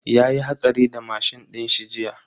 Yayi hatsari da mashin dinshi jiya.